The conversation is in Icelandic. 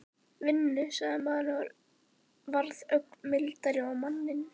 Vinnu? sagði maðurinn og varð ögn mildari á manninn.